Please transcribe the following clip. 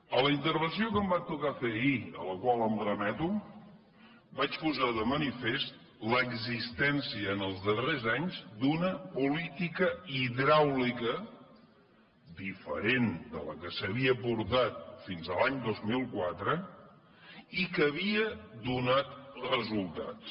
en la intervenció que em va tocar fer ahir a la qual em remeto vaig posar de manifest l’existència els darrers anys d’una política hidràulica diferent de la que s’havia portat fins a l’any dos mil quatre i que havia donat resultats